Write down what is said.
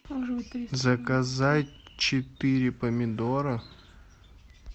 заказать четыре помидора